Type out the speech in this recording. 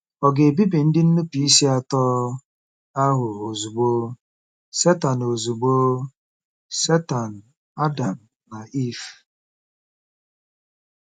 Ọ̀ ga-ebibi ndị nnupụisi atọ ahụ ozugbo— Setan ozugbo— Setan, Adam, na Iv?